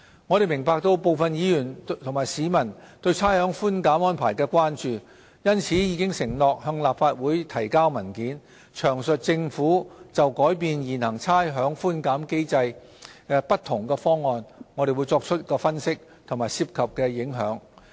我們明白部分議員和市民對差餉寬減安排的關注，因此已承諾向立法會提交文件，詳述政府就改變現行差餉寬減機制不同方案所作的分析和涉及的影響。